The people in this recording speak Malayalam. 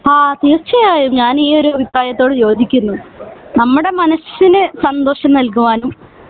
ആഹ് തീർച്ചയായും ഞാൻ ഈ ഒരു അഭിപ്രായത്തോട് യോജിക്കുന്നു നമ്മുടെ മനസ്സിന് സന്തോഷം നൽകുവാനും